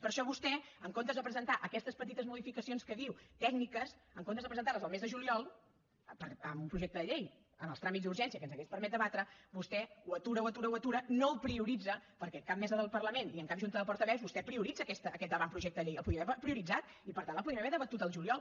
per això vostè en comptes de presentar aquestes petites modificacions que en diu tècniques en comptes de presentar les el mes de juliol amb un projecte de llei amb els tràmits d’urgència que ens hauria permès debatre vostè ho atura ho atura ho atura no ho prioritza perquè en cap mesa del parlament ni en cap junta de portaveus vostè prioritza aquest avantprojecte de llei el podria haver prioritzat i per tant el podríem haver debatut al juliol